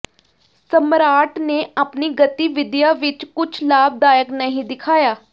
ਸਮਰਾਟ ਨੇ ਆਪਣੀ ਗਤੀਵਿਧੀਆਂ ਵਿਚ ਕੁਝ ਲਾਭਦਾਇਕ ਨਹੀਂ ਦਿਖਾਇਆ